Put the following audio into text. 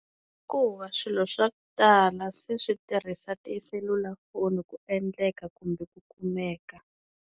Hikuva swilo swa ku tala se swi tirhisa tiselulafoni ku endleka kumbe ku kumeka.